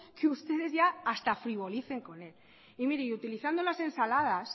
que ustedes ya hasta frivolicen con él y mire y utilizando las ensaladas